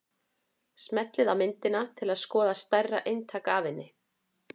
Smellið á myndina til að skoða stærra eintak af henni.